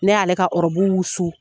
Ne y'ale ka ɔrɔbu wusu